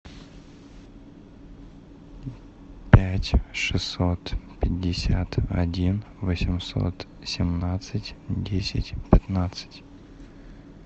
пять шестьсот пятьдесят один восемьсот семнадцать десять пятнадцать